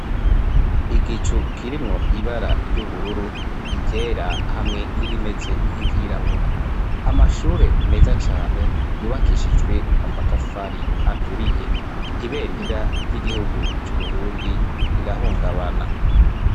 igicu kirimwo ibara ry'ubururu iryera hamwe n'irimeze nk'iryirabura amashure meza cane yubakishijwe amatafari aturiye ibendera ry'igihugu c'uburundi rirahungabana